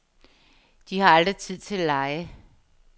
De har aldrig tid til at lege.